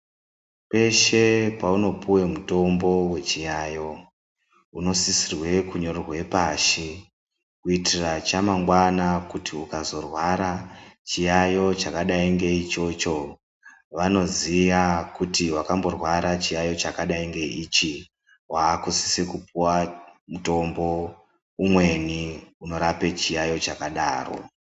Kweshe kwaunopuwa mutombo wechiyayiyo ,unoisisirwa kunyorerwe pashi kuitira chamangwani kuti ukazorwara chiyayiyo chakadai ngeichocho vanoziya kuti wakamborwara chiyayiyo chakadai ngeichi, wakusisa kupuwa mutombo umweni unorapa chiyayiyo chakadaro .